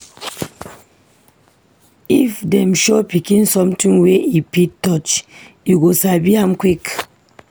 If dem show pikin something wey e fit touch, e go sabi am quick.